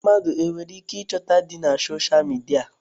Mmadụ e nwereike ịchọta di na soshal midia?